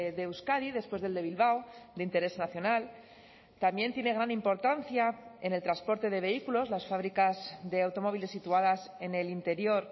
de euskadi después del de bilbao de interés nacional también tiene gran importancia en el transporte de vehículos las fábricas de automóviles situadas en el interior